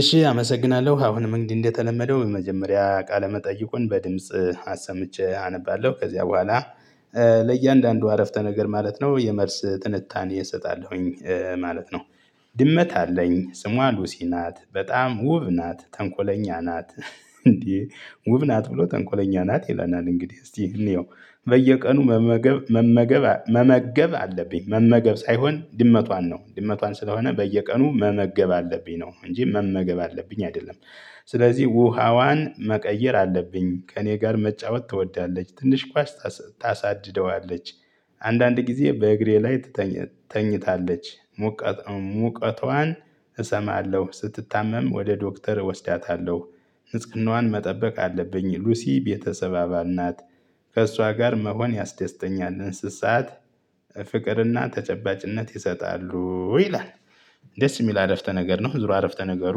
እሺ አመሰግናለሁ አሁንም እንግዲህ እንደተለመደው የመጀመሪያ ቃለ መጠይቁን በድምጽ አሰምቼ አነባለሁ ከዚያ በኋላ ለእያንዳንዱ አረፍተ ነገር ማለት ነው የመልስ ትንታኔ እሰጣለሁኝ ማለት ነው። ድመት አለኝ ጽሟ ሉሲ ናት በጣም ውብ ናት ተንኮለኛ ናት እንዴ ውብ ናት ብሎ ተንኮለኛ ናት ይለናል እንግዲህ እስቲ እንየው። በየቀኑ መመገብ መመገብ መመገብ አለብኝ መመገብ ሳይሆን ድመቷን ነው ድመቷን ስለሆነ በየቀኑ መመገብ አለብኝ ነው እንጂ መመገብ አለብኝ አይደለም። ስለዚህ ውሃዋን መቀየር አለብኝ ከእኔ ጋር መጫወት ትወዳለች ትንሽ ኳስ ታሳድደዋለች አንዳንድ ጊዜ በእግሬ ላይ ትተኛ ተኝታለች። ሙቀቷን እሰማለሁ ስትታመም ወደ ዶክተር እወስዳታለሁ ንጽህናዋን መጠበቅ አለብኝ ሉሲ ቤተሰብ አባል ናት። ከእሷ ጋር መሆን ያስደስተኛል እንስሳት ፍቅርና ተጨባጭነት ይሰጣሉ ይላል። ደስ የሚል አረፍተ ነገር ነው ዙሮ አረፍተ ነገሩ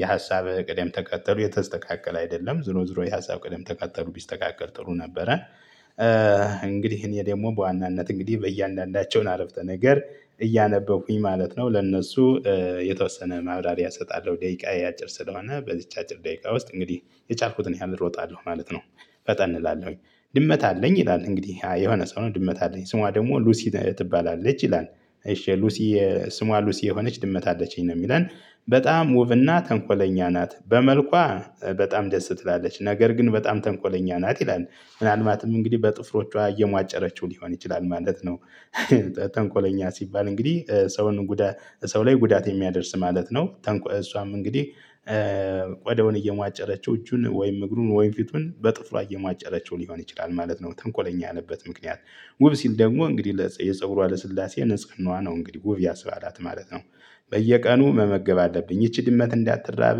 የሀሳብ ቅደም ተከጠሉ የተስተካከለ አይደለም ዙሮ ዙሮ የሀሳብ ቅደም ተከጠሉ ቢስተካከል ጥሩ ነበረ። እንግዲህ እኔ ደግሞ በዋናነት እንግዲህ በእያንዳንዳቸውን አረፍተ ነገር እያነበብኩኝ ማለት ነው ለእነሱ የተወሰነ ማብራሪያ እሰጣለሁ ደቂቃየ አጭር ስለሆነ በዚች አጭር ደቂቃ ውስጥ እንግዲህ የቻልኩትን ያህል እሮጣለሁ ማለት ነው። ፈጠን እላለሁኝ። ድመት አለኝ ይላል እንግዲህ የሆነ ሰው ነው ድመት አለኝ ስሟ ደግሞ ሉሲ ትባላለች ይላል እሺ ሉሲ ስሟ ሉሲ የሆነች ድመት አለችኝ ነው የሚለን በጣም ውብና ተንኮለኛ ናት በመልኳ በጣም ደስ ትላለች ነገር ግን በጣም ተንኮለኛ ናት ይላል። ምናልባትም እንግዲህ በጥፍሮቿ እየሟጨረችው ሊሆን ይችላል ማለት ነው። ተንኮለኛ ሲባል እንግዲህ ሰውን ጉዳት ሰው ላይ ጉዳት የሚያደርስ ማለት ነው። እሷም እንግዲህ ቆዳውን እየማጨረችው እጁን ወይም እግሩን ወይም ፊቱን በጥፍሯ እየማጨረቸው ሊሆን ይችላል ማለት ነው ተንኮለኛ ያለበት ምክንያት። ውብ ሲል ደግሞ እንግዲህ የፀጉሯ ለስላሴ ንጽህናዋ ነው እንግዲህ ውብ ያስባላት ማለት ነው። በየቀኑ መመገብ አለብኝ ይቺ ድመት እንዳትራብ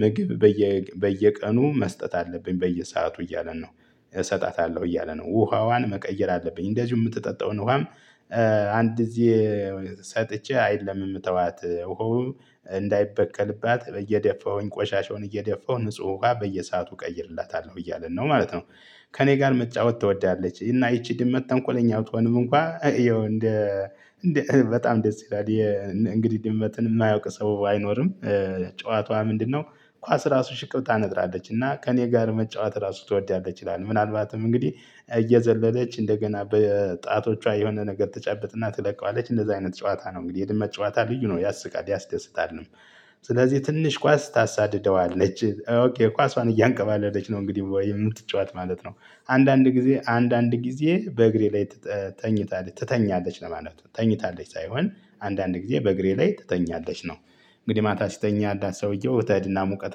ምግብ በየ በየቀኑ መስጠት አለብኝ በየሰአቱ እያለን ነው። እሰጣታለሁ እያለ ነው ውሃዋን መቀየር አለብኝ እንደዚሁ የምትጠጣውን ውሃም አንድ እዚህ ሰጥቼ አይደለም የምተዋት ውሃው እንዳይበቀልባት እየደፋሁኝ ቆሻሻውን እየደፋሁ ንጹህ ውሃ በየሰአቱ እቀይርላታለሁ እያለን ነው ማለት ነው። ከእኔ ጋር መጫወት ትወዳለች እና ይቺ ድመት ተንኮለኛ ብትሆንም እንኳን ይኸው እንደ በጣም ደስ ይላል። እንግዲህ ድመትን የማያውቅ ሰው አይኖርም። ጨዋታዋ ምንድነው? ኳስ ራሱ ሽቅብታ ነጥራለች እና ከእኔ ጋር መጫወት ራሱ ትወዳለች ይላል ምናልባትም እንግዲህ እየዘለለች እንደገና በጣቶቿ የሆነ ነገር ተጨብጥና ትለቀዋለች እንደዚህ አይነት ጨዋታ ነው እንግዲህ የድመት ጨዋታ ልዩ ነው ያስቃል ያስደስታል። ስለዚህ ትንሽ ኳስ ታሳድደዋለች ኦኬ ኳሷን እያንቀባለች ነው እንግዲህ የምትጫወት ማለት ነው። አንዳንድ ጊዜ አንዳንድ ጊዜ በእግሬ ላይ ተኝታለች ትተኛለች ለማለት ነው ተኝታለች ሳይሆን አንዳንድ ጊዜ በእግሬ ላይ ትተኛለች ነው። እንግዲህ ማታ ሲተኛላት ሰውየው ትሄድና ሙቀት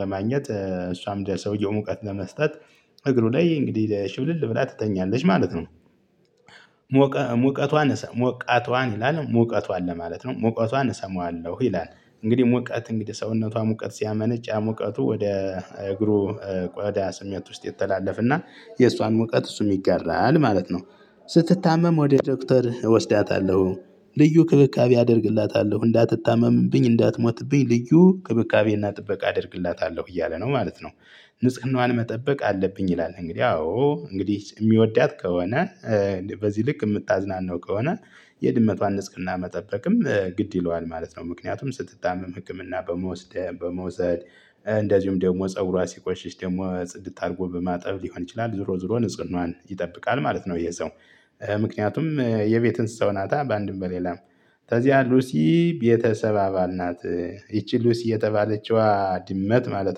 ለማግኘት እሷም ለሰውየው ሙቀት ለመስጠት እግሩ ላይ እንግዲህ ሽብልል ብላ ትተኛለች ማለት ነው። ሞቀ ሙቀቷን ሞቃቷን ይላል ሙቀቷን ለማለት ነው ሙቀቷን እሰማዋለሁ ይላል። እንግዲህ ሞቀት እንግዲህ ሰውነቷ ሞቀት ሲያመነጭ ያ ሙቀቱ ወደ እግሩ ቆዳ ስሜት ውስጥ ይተላለፍና የእሷን ሙቀት እሱ ይጋራል ማለት ነው። ስትታመም ወደ ዶክተር እወስዳታለሁ ልዩ ክብካቤ አደርግላታለሁ እንዳትታመምብኝ እንዳትሞትብኝ ልዩ ክብካቤና ጥበቃ አደርግላታለሁ እያለ ነው ማለት ነው። ንጽህናዋን መጠበቅ አለብኝ ይላል እንግዲህ አዎ እንግዲህ የሚወዳት ከሆነ በዚህ ልክ የምታዝናናው ከሆነ የድመቷን ንጽህና መጠበቅም ግድ ይለዋል ማለት ነው። ምክንያቱም ስትታመም ህክምና በመውሰድ በመውሰድ እንደዚሁም ደግሞ ፀጉሯ ሲቆሽሽ ደግሞ ጽድት አድርጎ በማጠብ ሊሆን ይችላል ዞሮ ዞሮ ንጽህናዋን ይጠብቃል ማለት ነው። ይሄ ሰው ምክንያቱም የቤት እንስሳው ናታ በአንድም በሌላም ከዚያ ሉሲ ቤተሰብ አባል ናት። ይቺ ሉሲ የተባለችዋ ድመት ማለት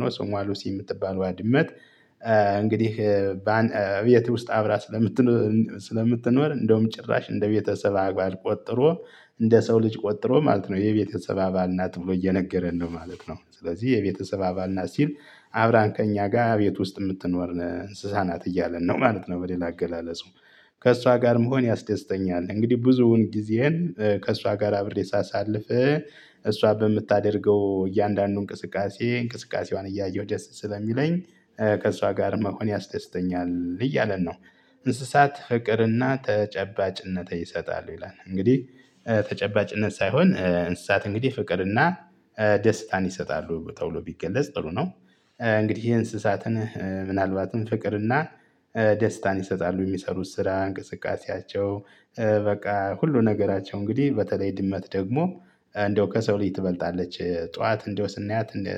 ነው ጾም ዋሉሲ የምትባለው ድመት እንግዲህ ከቤት ውስጥ አብራ ስለምትኖር እንደውም ጭራሽ እንደ ቤተሰብ አባል ቆጥሮ እንደ ሰው ልጅ ቆጥሮ ማለት ነው የቤተሰብ አባል ናት ብሎ እየነገረን ነው ማለት ነው። ስለዚህ የቤተሰብ አባል ናት ሲል አብራን ከእኛ ጋር ቤት ውስጥ የምትኖር እንስሳ ናት እያለን ነው ማለት ነው። በሌላ አገላለጽ ከእሷ ጋር መሆን ያስደስተኛል እንግዲህ ብዙውን ጊዜየን ከእሷ ጋር አብሬ ሳሳልፍ። እሷ በምታደርገው እያንዳንዱ እንቅስቃሴ እንቅስቃሴዋን እያየሁ ደስት ስለሚለኝ ከሷ ጋር መሆን ያስደስተኛል እያለን ነው። እንስሳት ፍቅርና ተጨባጭነት ይሰጣሉ ይላል። እንግዲህ ተጨባጭነት ሳይሆን እንስሳት እንግዲህ ፍቅርና ደስታን ይሰጣሉ ተብሎ ቢገለጽ ጥሩ ነው። እንግዲህ እንስሳትን ምናልባትም ፍቅርና ደስታን ይሰጣሉ የሚሰሩት ስራ እንቅስቃሴያቸው በቃ ሁሉ ነገራቸው እንግዲህ በተለይ ድመት ደግሞ እንደው ከሰው ልጅ ትበልጣለች። ጠዋት እንደው ስናያት እንደ